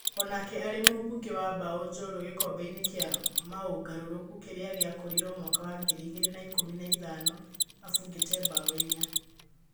Onake arĩ mũbungi wa mbao jorua gĩkombeĩnĩ kĩa maũngarũrũku kĩrĩa gĩakorirwo mwaka wa ngiri igĩrĩ na ikũmi na ithano abũngĩte mbao inya